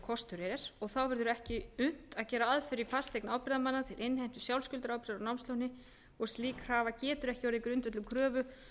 kostur er þá verður ekki unnt að gera aðför í fasteign ábyrgðarmanna til innheimtu sjálfskuldarábyrgðar á námsláni og slík krafa getur ekki orðið grundvöllur kröfu